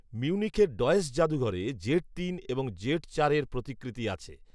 মিউনিখের Deutsches যাদুঘরে Z তিন এবং জেড চারের প্রতিকৃতি আছে